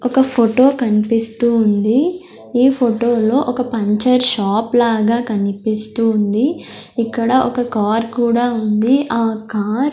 ఒక ఫోటో కన్పిస్తూ ఉంది ఈ ఫోటోలో ఒక పంచర్ షాప్ లాగా కనిపిస్తుంది ఇక్కడ ఒక కార్ కూడా ఉంది ఆ కార్ --